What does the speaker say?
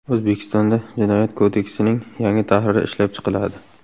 O‘zbekistonda Jinoyat kodeksining yangi tahriri ishlab chiqiladi.